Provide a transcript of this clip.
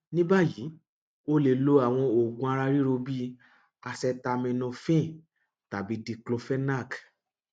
ni bayi o le lo awọn oogun ara riro bi acetaminophen tabi diclofenac